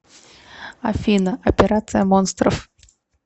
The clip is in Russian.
афина операция монстров